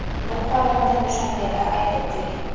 Bu holatni Dushanbeda qayd etdik.